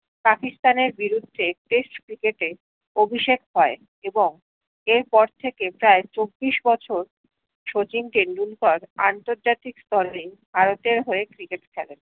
পকিস্তানের বিরুদ্ধে test ক্রিকেটে অভিষেক কয়ে এবং এর পর থেকে প্রায় চব্বিশ বছর শচীন টেন্ডুলকার আন্তর্জাতিক স্তরে ভারতের হয়ে ক্রিকেট খেলে